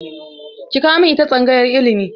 Ki kawo min ita tsangayar ilimi!